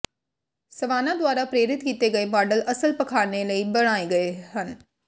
savanna ਦੁਆਰਾ ਪ੍ਰੇਰਿਤ ਕੀਤੇ ਗਏ ਮਾਡਲ ਅਸਲ ਪਾਖਾਨੇ ਲਈ ਬਣਾਏ ਗਏ ਹਨ